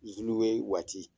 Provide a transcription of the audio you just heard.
zuluwe waati